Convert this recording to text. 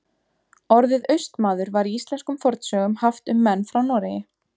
Orðið Austmaður var í íslenskum fornsögum haft um menn frá Noregi.